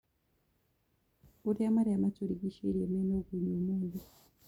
urĩa marĩa maturigicĩĩrie mena ũgũnyu umuthi